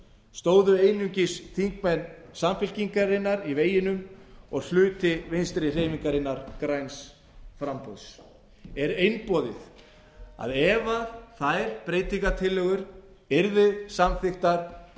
stóðu einungis þingmenn samfylkingarinnar í veginum og hluti vinstri hreyfingarinnar græns framboðs er einboðið að ef þær breytingartillögur yrðu samþykktar